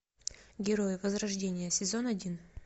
герои возрождения сезон один